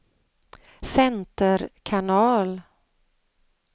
center kanal